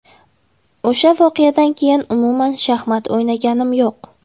O‘sha voqeadan keyin umuman shaxmat o‘ynaganim yo‘q.